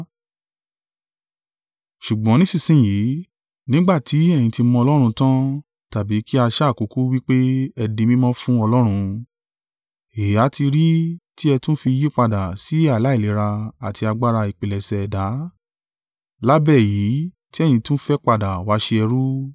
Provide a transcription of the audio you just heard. Ṣùgbọ́n nísinsin yìí, nígbà tí ẹ̀yin ti mọ Ọlọ́run tan tàbí kí a sá kúkú wí pé ẹ di mímọ́ fún Ọlọ́run, èéha ti rí tí ẹ tún fi yípadà sí aláìlera àti agbára ìpilẹ̀ṣẹ̀ ẹ̀dá, lábẹ́ èyí tí ẹ̀yin tún fẹ́ padà wá ṣe ẹrú?